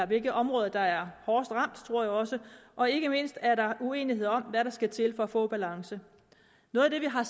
hvilke områder der er hårdest ramt og ikke mindst er der uenighed om hvad der skal til for at få balance noget af det vi har